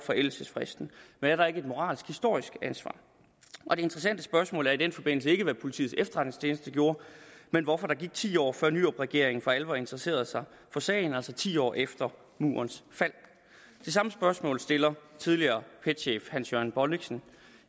forældelsesfristen men er der ikke et moralsk historisk ansvar og det interessante spørgsmål i den forbindelse er ikke hvad politiets efterretningstjeneste gjorde men hvorfor der gik ti år før nyrupregeringen for alvor interesserede sig for sagen altså ti år efter murens fald det samme spørgsmål stiller tidligere pet chef hans jørgen bonnichsen